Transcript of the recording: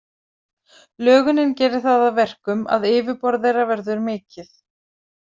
Lögunin gerir það að verkum að yfirborð þeirra verður mikið.